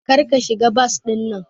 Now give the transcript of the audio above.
Kar ka shiga bas dinnan!